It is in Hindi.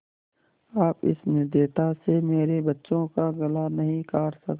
आप इस निर्दयता से मेरे बच्चों का गला नहीं काट सकते